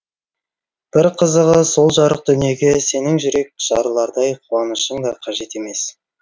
бір қызығы сол жарық дүниеге сенің жүрек жарылардай қуанышың да қажет емес